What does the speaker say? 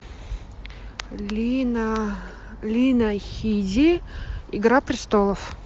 лина лина хиди игра престолов